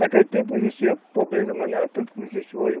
Naquele tempo existia pobreza, mas não era tanto como existe hoje.